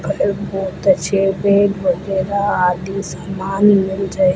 एक बहोत अच्छे बेड वगैरह आदि समान मिल रहे--